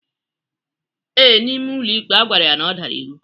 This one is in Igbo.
Ee, N'ime ụlọikpe agwara ya na ọ dara iwu.